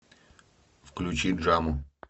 включи джаму